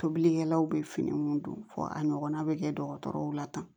Tobilikɛlaw bɛ fini mun don fɔ a ɲɔgɔnna bɛ kɛ dɔgɔtɔrɔw la tan